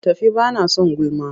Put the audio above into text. Tafi ba na son gulma!